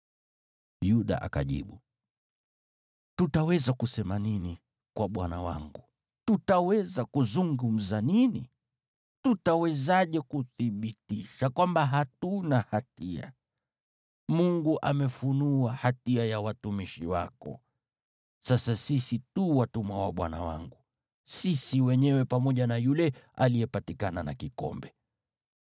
Yuda akajibu, “Tutaweza kusema nini kwa bwana wangu? Tutaweza kuzungumza nini? Tutawezaje kuthibitisha kwamba hatuna hatia? Mungu amefunua hatia ya watumishi wako. Sasa sisi tu watumwa wa bwana wangu, sisi wenyewe pamoja na yule aliyepatikana na kikombe.”